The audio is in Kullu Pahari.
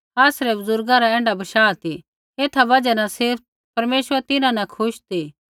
आसरै बुज़ुर्गा रा ऐण्ढा बशाह ती एथा बजहा न सिर्फ़ परमेश्वर तिन्हां न खुश ती